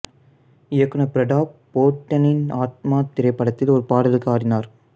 இயக்குநர் பிரதாப் போத்தனின் ஆத்மா திரைப்படத்தில் ஒரு பாடலுக்கு ஆடினார்